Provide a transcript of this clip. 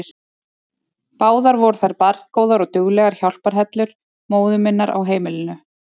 Báðar voru þær barngóðar og duglegar hjálparhellur móður minnar á heimilinu.